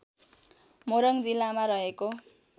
मोरङ जिल्लामा रहेको